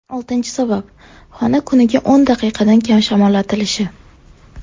Oltinchi sabab xona kuniga o‘n daqiqadan kam shamollatilishi.